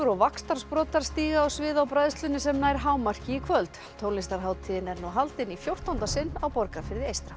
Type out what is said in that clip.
og vaxtarsprotar stíga á svið á bræðslunni sem nær hámarki í kvöld tónlistarhátíðin er nú haldin í fjórtánda sinn á Borgarfirði eystra